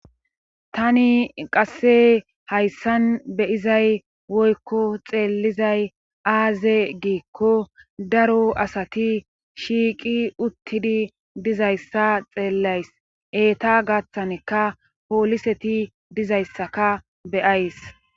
tani qasse hayssan beyizay woykko xeellizay aaze giikko daro asati shiiqi uttidi dizayssa xeellays eeta gaththaneka pooliseti dizayssaka beyays